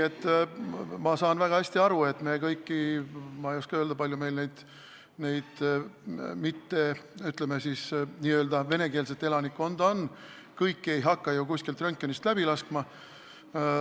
Ma saan väga hästi aru, et me ei hakka kõiki – ma ei oska öelda, kui palju, ütleme siis, venekeelset elanikkonda on – ju kuskilt röntgenist läbi laskma.